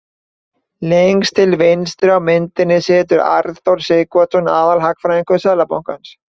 Lengst til vinstri á myndinni situr Arnór Sighvatsson, aðalhagfræðingur Seðlabankans.